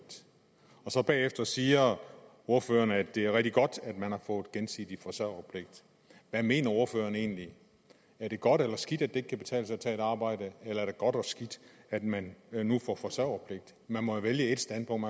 bagefter siger ordføreren at det er rigtig godt at man har fået gensidig forsørgerpligt hvad mener ordføreren egentlig er det godt eller skidt at det ikke kan betale sig at tage et arbejde eller er det godt og skidt at man nu får forsørgerpligt man må vælge et standpunkt